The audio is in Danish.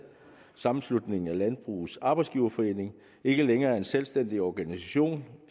sammenslutningen af landbrugets arbejdsgiverforeninger ikke længere er en selvstændig organisation